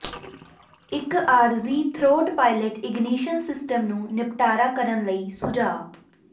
ਇੱਕ ਆਰਜ਼ੀ throat pilot ignition system ਨੂੰ ਨਿਪਟਾਰਾ ਕਰਨ ਲਈ ਸੁਝਾਅ